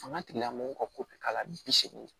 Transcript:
Fanga tigilamɔgɔw ka ko bɛ k'a la bi seegin